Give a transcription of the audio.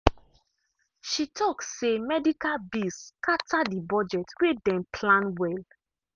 she talk say medical bills scatter the budget wey dem plan well.